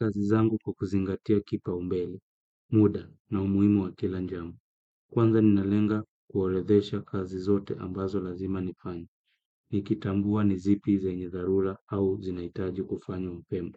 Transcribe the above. Kazi zangu kukuzingatia kipaumbele, muda na umuimu wa kila jambo. Kwanza nina lenga kuoredhesha kazi zote ambazo lazima nifanya. Nikitambua ni zipi zenye dharura au zinahitaji kufanywa mapema.